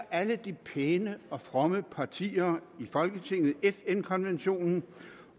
alle de pæne og fromme partier i folketinget ratificerer fn konventionen